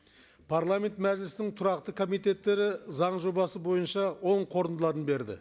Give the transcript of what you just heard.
парламент мәжілісінің тұрақты комитеттері заң жобасы бойынша оң қорытындыларын берді